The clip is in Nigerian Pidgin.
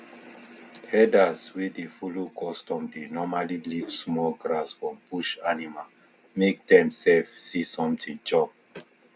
herders wey dey follow custom dey normally leave small grass for bush animal make dem sef see something chop